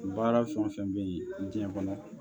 Baara fɛn o fɛn bɛ yen diɲɛ kɔnɔ